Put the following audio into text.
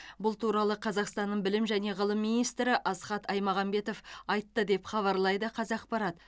бұл туралы қазақстанның білім және ғылым министрі асхат аймағамбетов айтты деп хабарлайды қазақпарат